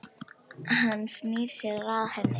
Hann snýr sér að henni.